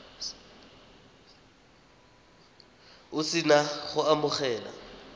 o se na go amogela